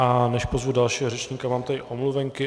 A než pozvu dalšího řečníka, mám tady omluvenky.